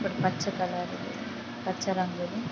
ఇక్కడ పచ్చ కలర్ పచ్చ రంగు ఇది.